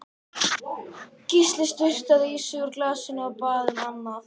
Gísli sturtaði í sig úr glasinu, og bað um annað.